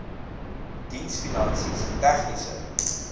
diens finansies tegniese